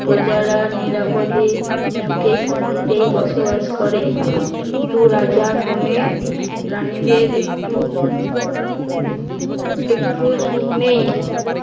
প্রজারা নিরাপদে সুখে-শান্তিতেই বসবাস করে কিন্তু রাজার মনে রাণীদের একটু একটুও সুখ নেই